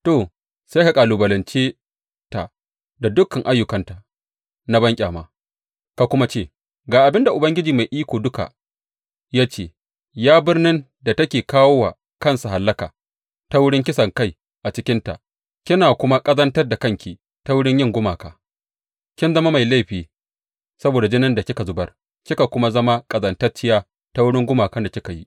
To, sai ka kalubalance ta da dukan ayyukanta na banƙyama ka kuma ce, Ga abin da Ubangiji Mai Iko Duka ya ce ya birnin da take kawo wa kansa hallaka ta wurin kisankai a cikinta kina kuma ƙazantar da kanki ta wurin yin gumaka, kin zama mai laifi saboda jinin da kika zubar kika kuma zama ƙazantacciya ta wurin gumakan da kika yi.